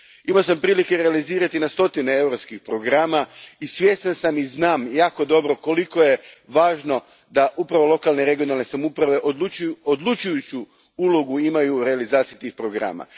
Imao sam prilike realizirati na stotine europskih programa i svjestan sam i znam jako dobro koliko je važno da upravo lokalne i regionalne samouprave imaju odlučujuću ulogu u realizaciji tih programa.